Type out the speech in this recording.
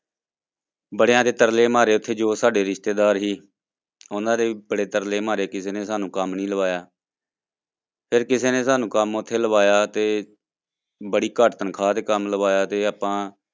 ਬੜਿਆਂ ਦੇ ਤਰਲੇ ਮਾਰੇ ਉੱਥੇ ਜੋ ਸਾਡੇ ਰਿਸ਼ਤੇਦਾਰ ਸੀ, ਉਹਨਾਂ ਦੇ ਵੀ ਬੜੇ ਤਰਲੇ ਮਾਰੇ ਕਿਸੇ ਨੇ ਸਾਨੂੰ ਕੰਮ ਨੀ ਲਵਾਇਆ ਫਿਰ ਕਿਸੇ ਨੇ ਸਾਨੂੰ ਕੰਮ ਉੱਥੇ ਲਵਾਇਆ ਤੇ ਬੜੀ ਘੱਟ ਤਨਖਾਹ ਤੇ ਕੰਮ ਲਵਾਇਆ ਤੇ ਆਪਾਂ